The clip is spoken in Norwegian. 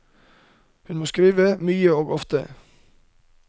Hun må skrive mye og ofte.